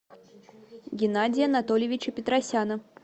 геннадия анатольевича петросяна